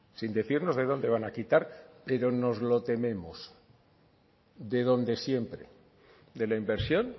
sin decirnos de dónde van a quitar pero nos lo tememos de donde siempre de la inversión